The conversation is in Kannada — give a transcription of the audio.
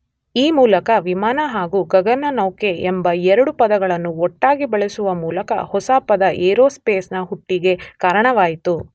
ಈ ಮೂಲಕ ವಿಮಾನ ಹಾಗು ಗಗನನೌಕೆ ಎಂಬ ಎರಡು ಪದಗಳನ್ನು ಒಟ್ಟಾಗಿ ಬಳಸುವ ಮೂಲಕ ಹೊಸ ಪದ ಏರೋಸ್ಪೇಸ್ ನ ಹುಟ್ಟಿಗೆ ಕಾರಣವಾಯಿತು.